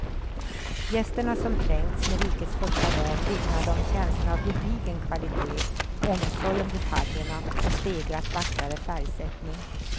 Gästerna som trängts med rikets första dam vittnade om känslan av gedigen kvalitet, omsorg om detaljerna och stegrat vackrare färgsättning.